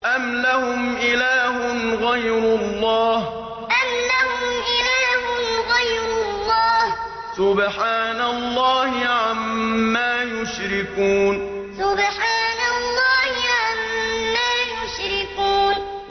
أَمْ لَهُمْ إِلَٰهٌ غَيْرُ اللَّهِ ۚ سُبْحَانَ اللَّهِ عَمَّا يُشْرِكُونَ أَمْ لَهُمْ إِلَٰهٌ غَيْرُ اللَّهِ ۚ سُبْحَانَ اللَّهِ عَمَّا يُشْرِكُونَ